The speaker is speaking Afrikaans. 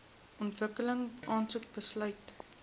ontwikkeling aansoek besluit